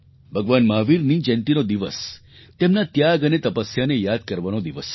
ભગવાન મહાવીરની જયંતીનો દિવસ તેમના ત્યાગ અને તપસ્યાને યાદ કરવાનો દિવસ છે